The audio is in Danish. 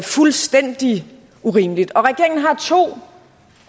fuldstændig urimeligt regeringen har to